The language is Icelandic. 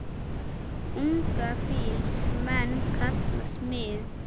Unga fýls menn kalla smið.